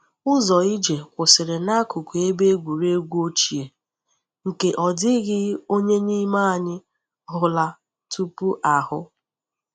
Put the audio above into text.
Ụzọ ije kwụsịrị n’akụkụ ebe egwuregwu ochie, nke ọ dịghị onye n’ime anyị hụla tupu ahụ.